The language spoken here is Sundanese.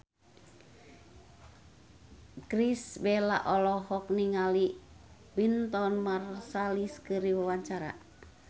Irish Bella olohok ningali Wynton Marsalis keur diwawancara